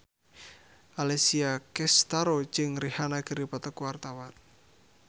Alessia Cestaro jeung Rihanna keur dipoto ku wartawan